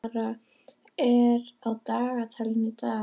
Kalmara, hvað er á dagatalinu í dag?